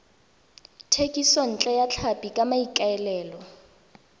thekisontle ya tlhapi ka maikaelelo